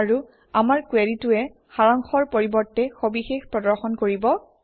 আৰু আমাৰ কুৱেৰিটোৱে সাৰাংশৰ পৰিৱৰ্তে সবিশেষ প্ৰদৰ্শন কৰিব